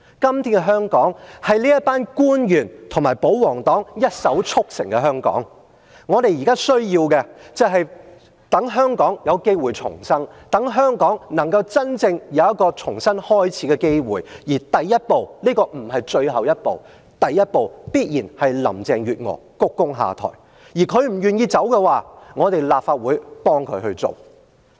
今天的香港是這群官員和保皇黨一手促成的香港，我們現在需要的是，讓香港有機會重生，讓香港有一個重新開始的機會；而第一步，這不是最後一步，第一步必然是林鄭月娥鞠躬下台，她不願意離開的話，立法會便幫她一把。